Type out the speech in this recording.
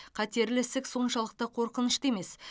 қатерлі ісік соншалықты қорқынышты емес